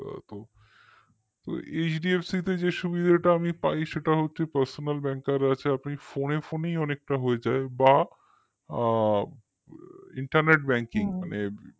তো HDFC তে যে সুবিধাটা আমি পাই সেটা হচ্ছে personalbanker আছে আপনি phone এ phone ই অনেকটা হয়ে যায় বা internet banking মানে